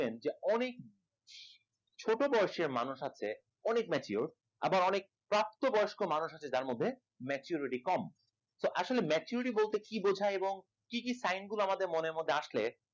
ছোটো বয়সের মানুষ আছে অনেক mature আবার অনেক প্রাপ্ত বয়স্ক মানুষ আছে যার মধ্যে maturity কম। তো আসলে maturity বলতে কি বোঝায় এবং কি কি sign গুলো আমাদের মনের মধ্যে আসলে